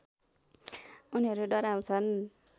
उनीहरू डराउँछन्